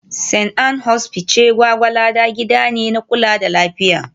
St. Ann's Hospice Gwgwalada gida ne na kula da lafiya